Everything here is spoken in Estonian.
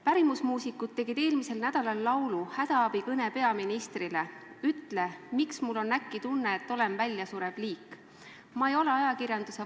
Pärimusmuusikud tegid eelmisel nädalal laulu "Hädaabikõne peaministrile", kus on sõnad: "Ütle, miks mul on äkki tunne, et olen väljasurev liik?